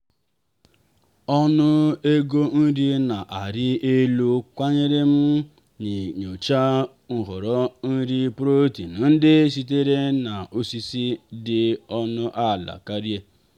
ọnụ ego nri na-arị elu kwanyere m n'inyocha nhọrọ nri protein ndị sitere na osisi dị ọnụ ala karịa.